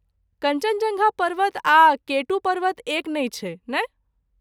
कञ्चनजङ्गा पर्वत आ केटू पर्वत एक नहि छै, नहि?